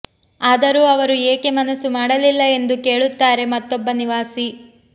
ಆದರೂ ಅವರು ಏಕೆ ಮನಸು ಮಾಡಲಿಲ್ಲ ಎಂದು ಕೇಳುತ್ತಾರೆ ಮತ್ತೊಬ್ಬ ನಿವಾಸಿ